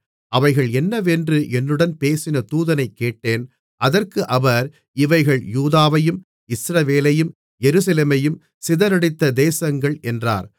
அவைகள் என்னவென்று என்னுடன் பேசின தூதனைக் கேட்டேன் அதற்கு அவர் இவைகள் யூதாவையும் இஸ்ரவேலையும் எருசலேமையும் சிதறடித்த தேசங்கள் என்றார்